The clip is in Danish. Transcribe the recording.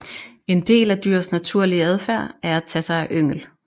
En del af dyrs naturlige adfærd er at tage sig af yngel